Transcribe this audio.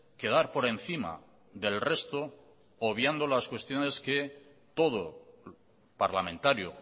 quedar por encima del resto obviando las cuestiones que todo parlamentario